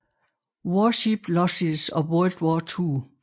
Warship Losses of World War Two